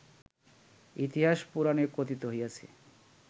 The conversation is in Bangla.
ইতিহাস পুরাণে কথিত হইয়াছে